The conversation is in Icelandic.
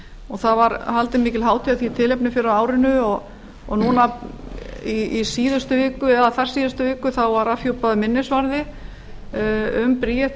og það var haldin mikil hátíð af því tilefni fyrr á árinu og núna í síðustu viku eða þar síðustu viku var afhjúpaður minnisvarði um bríeti